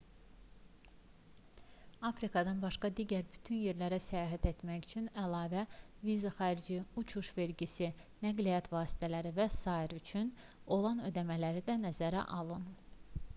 afrikadan başqa digər bütün yerlərə səyahət etmək üçün əlavə viza xərci uçuş vergisi nəqliyyat vasitələri və s üçün olan ödəmələri də nəzərə alın